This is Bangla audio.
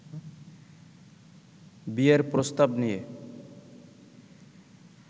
বিয়ের প্রস্তাব নিয়ে